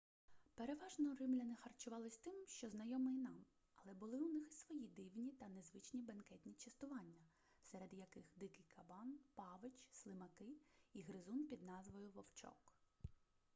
переважно римляни харчувались тим що знайоме і нам але були у них і свої дивні та незвичні бенкетні частування серед яких дикий кабан павич слимаки і гризун під назвою вовчок